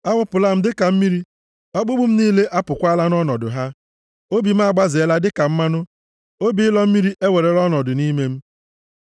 A wụpụla m dịka mmiri, ọkpụkpụ m niile apụkwaala nʼọnọdụ ha. Obi m agbazela dịka mmanụ, obi ịlọ mmiri ewerela ọnọdụ nʼime m.